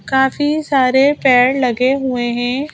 काफी सारे पेड़ लगे हुए हैं।